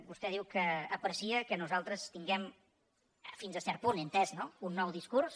vostè diu que aprecia que nosaltres tinguem fins a cert punt he entès no un nou discurs